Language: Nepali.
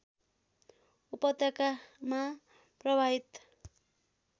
उपत्यकामा प्रवाहित